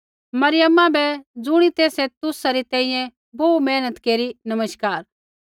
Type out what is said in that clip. मरियमा बै ज़ुणी तेसै तुसा री तैंईंयैं बोहू मेहनत केरी नमस्कार